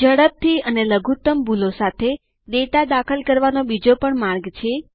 ઝડપથી અને લઘુત્તમ ભૂલો સાથે ડેટા દાખલ કરવાનો બીજો પણ માર્ગ છે